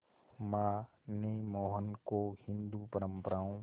मां ने मोहन को हिंदू परंपराओं